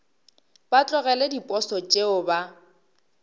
ba tlogele diposo tšeo ba